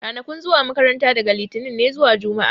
Ranakun zuwa makaranta daga litinin ne zuwa juma'a